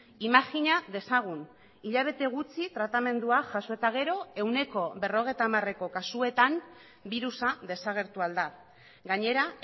imajina dezagun hilabete gutxi tratamendua jaso eta gero ehuneko berrogeita hamareko kasuetan birusa desagertu ahal da gainera